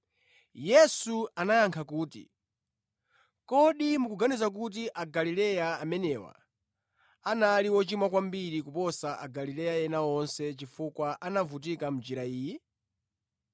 Yesu anayankha kuti, “Kodi mukuganiza kuti Agalileya amenewa anali ochimwa kwambiri kuposa Agalileya ena onse chifukwa anavutika mʼnjira iyi?